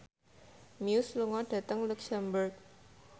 Muse lunga dhateng luxemburg